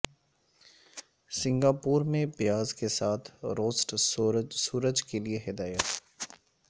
Singapore میں پیاز کے ساتھ روسٹ سورج کے لئے ہدایت